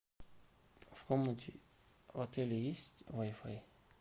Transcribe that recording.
в комнате в отеле есть вай фай